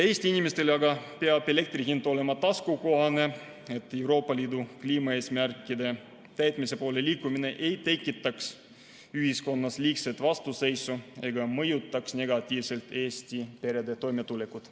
Eesti inimestele peab elektri hind olema taskukohane, et Euroopa Liidu kliimaeesmärkide täitmise poole liikumine ei tekitaks ühiskonnas liigset vastuseisu ega mõjutaks negatiivselt Eesti perede toimetulekut.